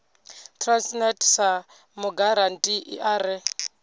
transnet sa mugarantii a re